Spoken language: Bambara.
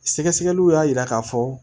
Sɛgɛsɛgɛliw y'a yira k'a fɔ